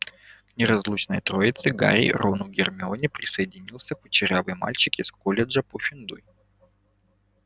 к неразлучной троице гарри рону гермионе присоединился курчавый мальчик из колледжа пуффендуй